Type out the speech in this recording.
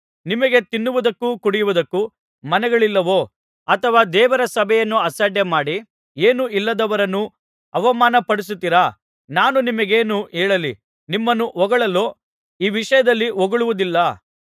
ನಿಮಗೆ ತಿನ್ನುವುದಕ್ಕೂ ಕುಡಿಯುವುದಕ್ಕೂ ಮನೆಗಳಿಲ್ಲವೋ ಅಥವಾ ದೇವರ ಸಭೆಯನ್ನು ಅಸಡ್ಡೆಮಾಡಿ ಏನೂ ಇಲ್ಲದವರನ್ನು ಅವಮಾನಮಾಡುತ್ತೀರಾ ನಾನು ನಿಮಗೇನು ಹೇಳಲಿ ನಿಮ್ಮನ್ನು ಹೊಗಳಲೋ ಈ ವಿಷಯದಲ್ಲಿ ಹೊಗಳುವುದಿಲ್ಲ